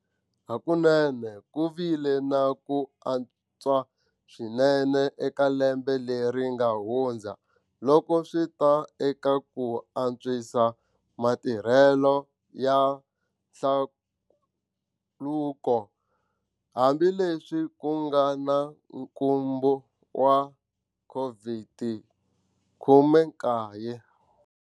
Hakunene ku vile na ku antswa swinene eka lembe leri nga hundza loko swi ta eka ku antswisa matirhelo ya hlaluko, hambileswi ku nga na nkhumbo wa COVID-19.